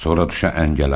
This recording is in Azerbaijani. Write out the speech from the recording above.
Sonra düşə əngələ.